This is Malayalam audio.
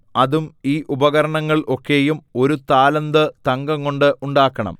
അതും ഈ ഉപകരണങ്ങൾ ഒക്കെയും ഒരു താലന്ത് തങ്കംകൊണ്ട് ഉണ്ടാക്കണം